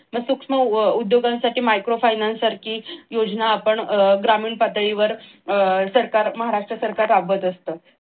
मग सूक्ष्म उद्योगांसाठी micro finance सारखी योजना आपण ग्रामीण पातळीवर सरकार महाराष्ट्र सरकार राबत असत.